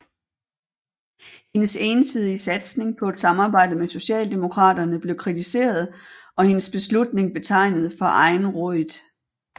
Hendes ensidige satsning på et samarbejde med Socialdemokraterne blev kritiseret og hendes beslutning betegnet for egenrådigt